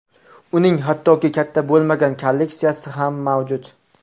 Uning hattoki katta bo‘lmagan kolleksiyasi ham mavjud.